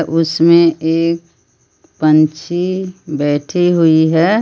उसमें एक पंछी बैठी हुई है।